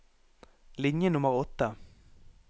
Linje nummer åtte